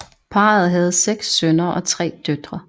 Parret havde 6 sønner og 3 døtre